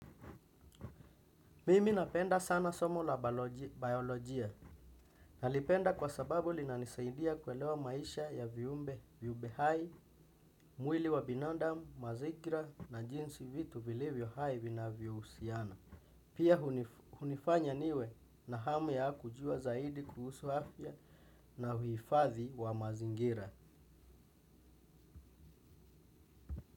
Mimi napenda sana somo la biolojia na lipenda kwa sababu linanisaidia kuelewa maisha ya viumbe viumbe hai, mwili wa binadamu, mazikira na jinsi vitu vilevyo hai vinavyohusiana. Pia hunifanya niwe na hamu ya kujua zaidi kuhusu afya na huifadhi wa mazingira.